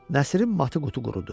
Nəsirin matı qutu qurudu.